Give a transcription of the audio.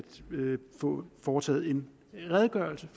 få foretaget en redegørelse